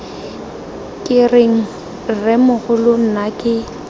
ke reng rremogolo nna ke